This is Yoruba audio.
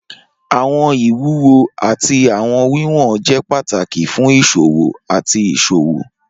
Awọn iwuwo ati awọn wiwọn jẹ pataki fun iṣowo ati iṣowo.